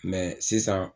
sisan